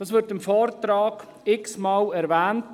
Das wird im Vortrag x-mal erwähnt.